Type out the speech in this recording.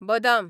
बदाम